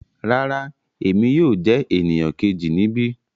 Rárá, Emi yóò jẹ eniyan keji nibi